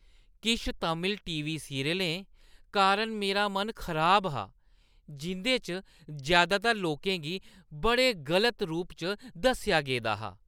किश तमिल टी.वी. सीरियलें कारण मेरा मन खराब हा, जिं'दे च जैदातर लोकें गी बड़े गलत रूप च दस्सेआ गेदा हा।